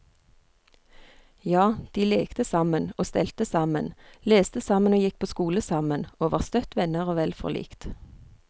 Ja, de lekte sammen og stelte sammen, leste sammen og gikk på skole sammen, og var støtt venner og vel forlikt.